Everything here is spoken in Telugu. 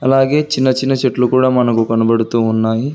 అలాగే చిన్న చిన్న చెట్లు కూడా మనకు కనబడుతూ ఉన్నాయి.